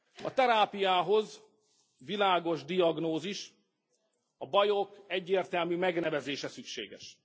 A terápiához világos diagnózis, a bajok egyértelmű megnevezése szükséges.